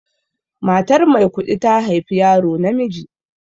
Matar Maikuɗi ta haifi yaro namiji.